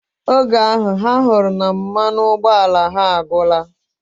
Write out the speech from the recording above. Oge ahu, ha huru na mmanụ ụgbọala ya agwora.